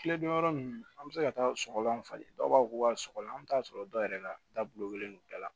Kile damadɔ ninnu an bɛ se ka taa sɔgɔlan falen dɔw b'a fɔ k'u ka sɔgɔlan an mi taa sɔrɔ dɔw yɛrɛ la dalolen don bɛɛ la